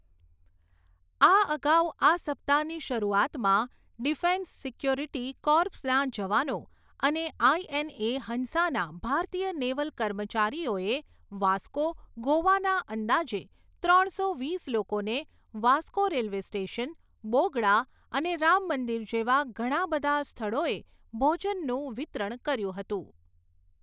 આ અગાઉ આ સપ્તાહની શરૂઆતમાં ડિફેન્સ સિક્યોરિટી કૉર્પ્સના જવાનો અને આઈએનએ, હંસાના ભારતીય નેવલ કર્મચારીઓએ વાસ્કો, ગોવાના અંદાજે ત્રણસો વીસ લોકોને વાસ્કો રેલવે સ્ટેશન, બોગડા અને રામમંદિર જેવા ઘણા બધા સ્થળઓએ ભોજનનું વિતરણ કર્યું હતું.